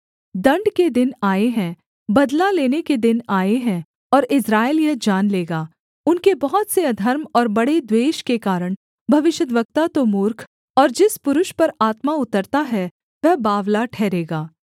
दण्ड के दिन आए हैं बदला लेने के दिन आए हैं और इस्राएल यह जान लेगा उनके बहुत से अधर्म और बड़े द्वेष के कारण भविष्यद्वक्ता तो मूर्ख और जिस पुरुष पर आत्मा उतरता है वह बावला ठहरेगा